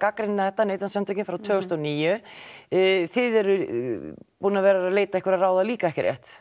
gagnrýna þetta Neytendasamtökin frá tvö þúsund og níu þið eruð búin að vera að leita ráða líka ekki rétt